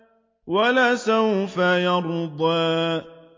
وَلَسَوْفَ يَرْضَىٰ